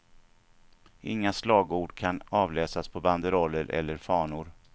Inga slagord kan avläsas på banderoller eller fanor.